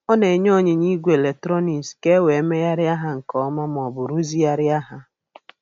Ọ na-enye onyinye igwe eletrọnịks ka e wee megharịa ha nke ọma ma ọ bụ rụzigharịa ha.